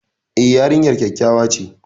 E, yarinyar kyakkyawa ce.